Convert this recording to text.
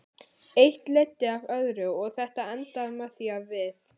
Eitt leiddi af öðru og þetta endaði með því að við.